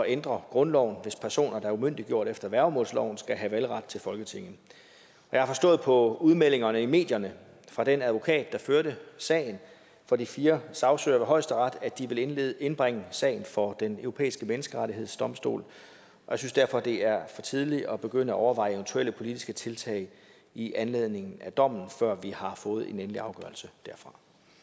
ændre grundloven hvis personer der er umyndiggjort efter værgemålsloven skal have valgret til folketinget jeg har forstået på udmeldingerne i medierne fra den advokat der førte sagen for de fire sagsøgere ved højesteret at de vil indbringe sagen for den europæiske menneskerettighedsdomstol jeg synes derfor det er for tidligt at begynde at overveje eventuelle politiske tiltag i anledning af dommen før vi har fået en endelig afgørelse derfra